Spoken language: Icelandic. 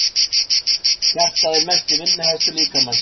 Hjartað er mesti vinnuhestur líkamans.